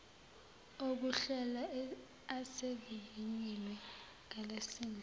okuhlela asevivinyiwe ngalesimo